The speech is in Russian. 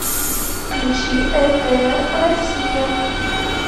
включи ртр россия